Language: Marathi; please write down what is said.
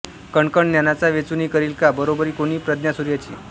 कणकण ज्ञानाचा वेचुनी करील का बरोबरी कोणी प्रज्ञासूर्याची